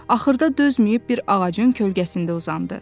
Axırda dözməyib bir ağacın kölgəsində uzandı.